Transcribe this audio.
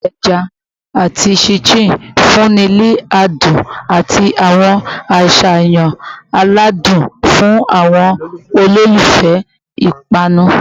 paii eja ati chin chin nfunni ni adun ati awọn aṣayan aladun fun awọn ololufẹ ipanu